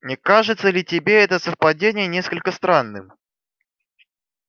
не кажется ли тебе это совпадение несколько странным